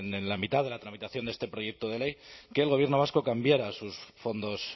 sobre en la mitad de la tramitación de este proyecto de ley que el gobierno vasco cambiara sus fondos